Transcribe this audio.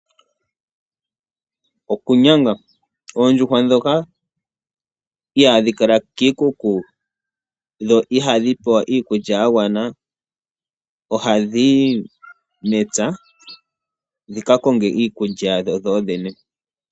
Okunyanga. Oondjuhwa ndhoka ihaadhi kala kiikuku, dho ihadhi pewa iikulya ya gwana, ohadhi yi mepya dhi ka konge iikulya yadho dhodhene.